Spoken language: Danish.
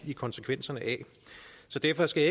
i konsekvenserne af så derfor skal